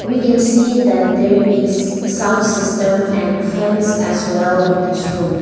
we can see that there is sound system and fans as well in this room.